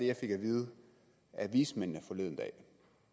jeg fik at vide af vismændene forleden dag